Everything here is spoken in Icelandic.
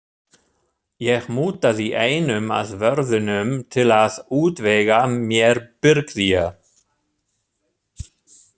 Ég mútaði einum af vörðunum til að útvega mér birgðir.